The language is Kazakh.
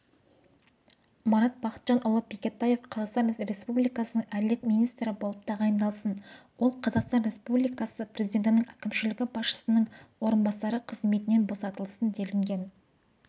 марат бақытжанұлы бекетаев қазақстан республикасының әділет министрі болып тағайындалсын ол қазақстан республикасы президентінің әкімшілігі басшысының орынбасары қызметінен босатылсын делінген